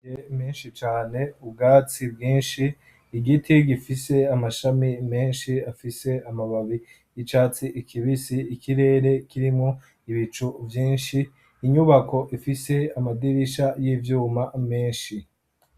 menshi cane ubwatsi bwinshi igiti gifise amashami menshi afise amababi y'icatsi ikibisi ikirere kirimwo ibicu vyinshi, inyubako ifise amadirisha y'ivyuma menshi.